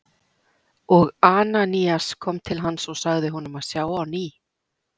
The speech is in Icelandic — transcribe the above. Og Ananías kom til hans og sagði honum að sjá á ný.